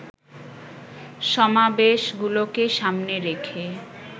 সমাবেশগুলোকে সামনে রেখে